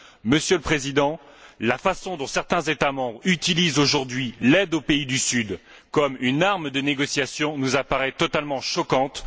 Monsieur le Président, la façon dont certains États membres utilisent aujourd'hui l'aide aux pays du Sud comme une arme de négociation nous apparaît totalement choquante.